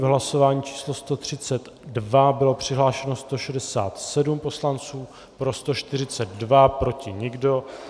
V hlasování číslo 132 bylo přihlášeno 167 poslanců, pro 142, proti nikdo.